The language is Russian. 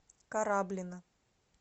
кораблино